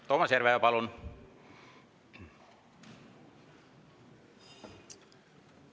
Toomas Järveoja, palun!